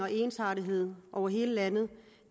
ensartethed over hele landet